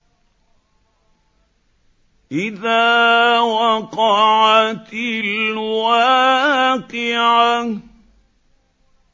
إِذَا وَقَعَتِ الْوَاقِعَةُ